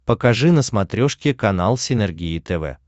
покажи на смотрешке канал синергия тв